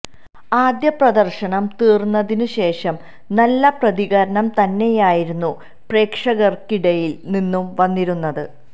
ആദ്യ പ്രദര്ശനം തീര്ന്നതിന് ശേഷം നല്ല പ്രതികരണം തന്നെയായിരുന്നു പ്രേക്ഷകര്ക്കിടയില് നിന്നും വന്നിരുന്നത്